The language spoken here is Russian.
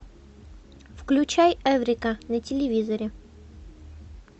включай эврика на телевизоре